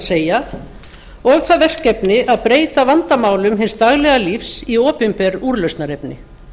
segja og það verkefni að breyta vandamálum hins daglega lífs í opinber úrlausnarefni